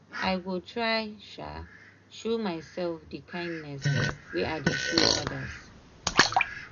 i go try um show myself dey kindness wey i dey show others.